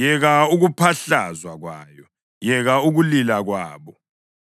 “Yeka ukuphahlazwa kwayo! Yeka ukulila kwabo!